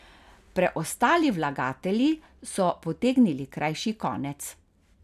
Preostali vlagatelji so potegnili krajši konec.